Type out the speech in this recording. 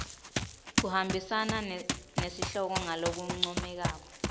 kuhambisana nesihloko ngalokuncomekako